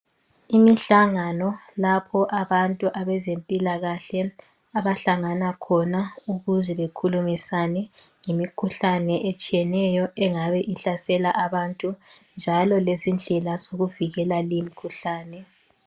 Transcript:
Imihlangano lapho abantu abezempilakahle abahlangana khona ukuze bekhulumisane ngemikhuhlane etshiyeneyo engabe ihlasela abantu njalo lezindlela zokuvikela limkhuhlane.